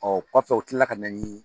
kɔfɛ u tilala ka na ni